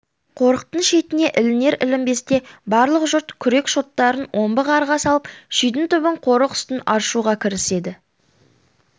қорықтың шетіне ілінер-ілінбесте барлық жұрт күрек шоттарын омбы қарға салып шидің түбін қорық үстін аршуға кіріседі